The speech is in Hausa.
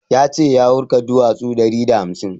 Ya ce ya wurga duwasu ɗari da hamsin